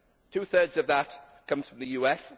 Two thirds of that comes from the US.